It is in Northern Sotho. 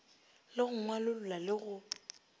le go ngwalolla le go